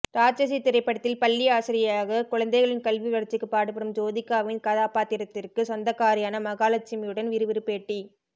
ராட்சசி திரைப்படத்தில் பள்ளி ஆசிரியையாக குழந்தைகளின் கல்வி வளர்ச்சிக்கு பாடுபடும் ஜோதிகாவின் கதாபாத்திரத்திற்கு சொந்தக்காரியான மகாலட்சுமியுடன் விறுவிறு பேட்டி